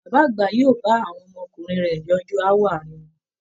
Bàbá àgbà yóò bá àwọn ọmọkùnrin rẹ̀ yanjú aáwọ aàrin wọn